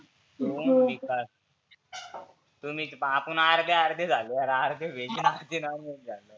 तु, विकास तुम्ही आपुन आर्धे आर्धे झालो यार. आर्धे व्हेज आन आर्धे नॉनव्हेज झालो.